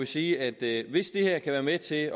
sige at hvis det her kan være med til